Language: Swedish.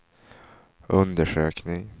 undersökning